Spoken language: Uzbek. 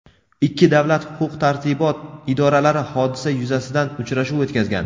Ikki davlat huquq tartibot idoralari hodisa yuzasidan uchrashuv o‘tkazgan.